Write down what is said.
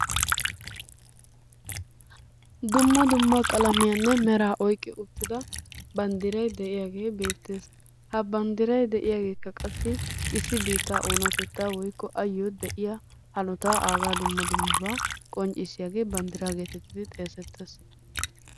Dumma dumma qalammiyanne meraanne oyqqi uttida bandiray de'iyagee beettees. Ha banddiray de'iyageekka qasi issi biittaa oonatettaa woykko ayoo de'iya hanottaa aagaa dumma dummabaa qonccisiyaagee banddiraa geetettidi xeesettees.